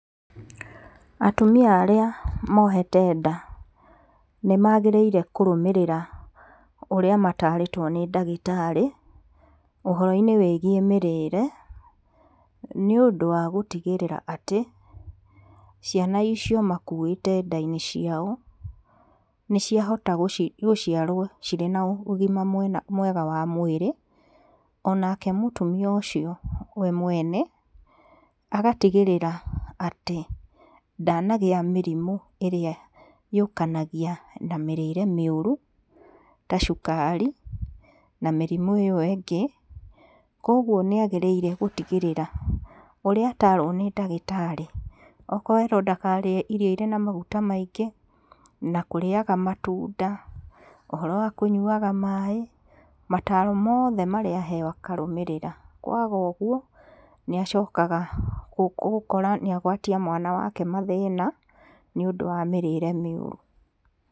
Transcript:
Atumia arĩa mohete nd a,nĩmagĩrĩire kũrũmĩrĩra ũrĩa matarĩtwo nĩ ndagĩtarĩ, ũhoro-inĩ wĩgiĩ mĩrĩre, nĩ ũndũ wa gũtigĩrĩra atĩ, ciana icio makuĩte ndainĩ ciao, nĩciahota gũciarwo cirĩ na ũgima mwega wa mwĩrĩ, onake mũtumia ũcio we mwene, agatigĩrĩra atĩ ndanagĩa mĩrimũ arĩa yũkanagia na mĩrĩre mĩũru, ta cukari, na mĩrimũ ĩyo ĩngĩ, koguo nĩ agĩrĩire gũtigĩrĩra ũrĩa atarwi nĩ ndagĩtarĩ, okorwo erwo ndakarĩe irio irĩ na maguta maingĩ, na kũrĩaga matunda, ũhoro wa kũnyuaga maĩ, mataro mothe marĩa aheo akarũmĩrĩra, kwaga ũguo, nĩ acokaga gũkora nĩ agwatia mwana wake mathĩna, nĩ ũndũ wa mĩrĩre mĩũru.